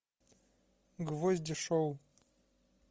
гвозди шоу